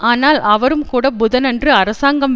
ஆனால் அவரும் கூட புதனன்று அரசாங்கம்